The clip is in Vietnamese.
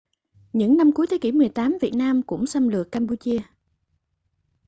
những năm cuối thế kỷ 18 việt nam cũng xâm lược campuchia